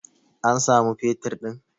an samu fetur din!